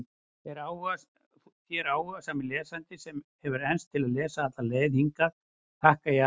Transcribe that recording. Þér, áhugasami lesandi, sem hefur enst til að lesa alla leið hingað, þakka ég athyglina.